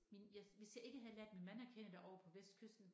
Min jeg hvis jeg ikke havde lært min mand at kende derovre på vestkysten